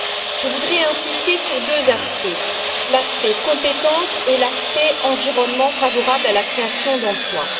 Je voudrais insister sur deux aspects l'aspect compétences et l'aspect environnement favorable à la création d'emplois.